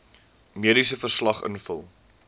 mediese verslag invul